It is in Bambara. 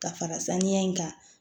Ka fara saniya in kan